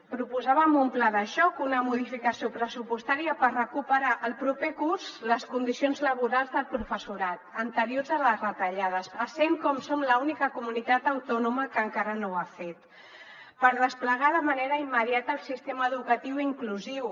proposàvem un pla de xoc una modificació pressupostària per recuperar el proper curs les condicions laborals del professorat anteriors a les retallades essent com som l’única comunitat autònoma que encara no ho ha fet per desplegar de manera immediata el sistema educatiu inclusiu